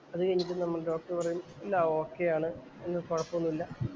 അതുകഴിഞ്ഞിട്ട് നമ്മടെ ഡോക്ടര്‍ പറയും എല്ലാം ഓകെയാണ്. ഇനി കൊഴപ്പം ഒന്നുല്ല.